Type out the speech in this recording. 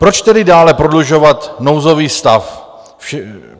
Proč tedy dále prodlužovat nouzový stav?